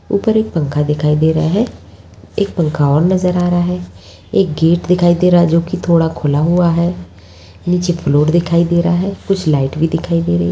ऊपर एक पंखा दिखाई दे रहा है एक पंखा और नज़र आ रहा है। एक गेट दिखाई दे रहा है जोकि थोड़ा खुला हुआ है नीचे प्लॉट दिखाई दे रहा है कुछ लाइट भी दिखाई दे रही है।